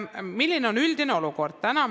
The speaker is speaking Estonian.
Milline on üldine olukord?